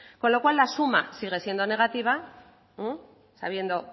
con lo cual la suma sigue siendo negativa sabiendo